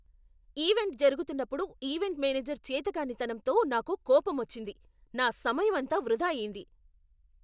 Event జరుగుతున్నప్పుడు event manager చేతకానితనంతో నాకు కోపమొచ్చింది, నా సమయమంతా వృధా అయ్యింది.